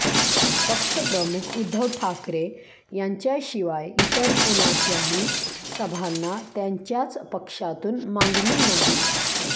पक्षप्रमुख उद्धव ठाकरे यांच्याशिवाय इतर कुणाच्याही सभांना त्यांच्याच पक्षातून मागणी नाही